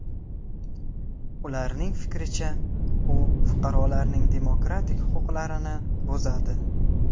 Ularning fikricha, u fuqarolarning demokratik huquqlarini buzadi.